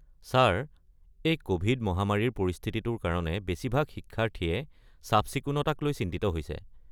Sir, এই Covid মহামাৰীৰ পৰিস্থিতিটোৰ কাৰণে বেছিভাগ শিক্ষাৰ্থীয়ে চাফ-চিকুণতাক লৈ চিন্তিত হৈছে।